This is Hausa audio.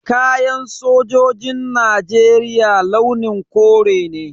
Kayan sojin Najeriya launin kore ne.